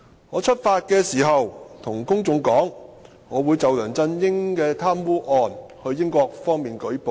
我出發時告訴公眾，我會就梁振英的貪污案到英國，方便舉報。